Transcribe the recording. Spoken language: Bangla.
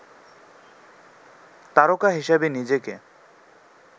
তারকা হিসেবে নিজেকে